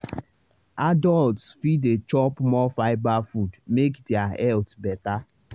adults fit dey chop more fibre food make their health better.